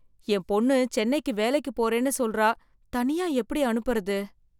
என் பொண்ணு சென்னைக்கு வேலைக்கு போறேன்னு சொல்றா தனியா எப்படி அனுப்புறது?